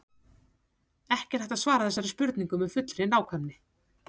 Ekki er hægt að svara þessari spurningu með fullri nákvæmni.